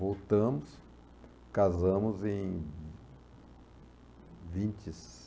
Voltamos, casamos em vinte e